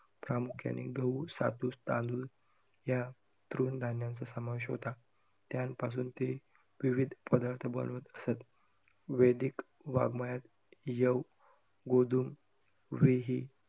प्रामुख्याने गहू, सातू, तांदूळ या तृण धान्यांचा समावेश होता. त्यांपासून ते विविध पदार्थ बनवत असतं. वेदीक वाङमयात यव, गोधूम, व्रीहि या~